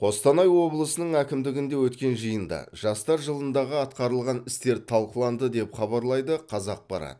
қостанай облысының әкімдігінде өткен жиында жастар жылындағы атқарылған істер талқыланды деп хабарлайды қазақпарат